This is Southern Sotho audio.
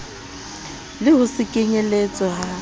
le ho se kenyeletswe ha